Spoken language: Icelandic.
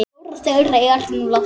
Fjórar þeirra eru nú látnar.